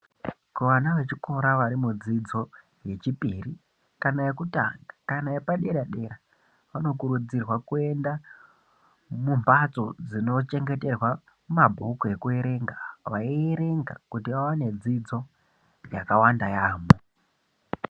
Kuvana vechikora vari mudzidzo yechipiri kana yekutanga kana yepadera-dera. Vanokurudzitrwa kuenda mumhatso dzinochengeterwa mabhuku ekuerenga vaierenga kuti vavane dzidzo yakawanda yaamho.